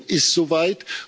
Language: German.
Georgien ist so weit.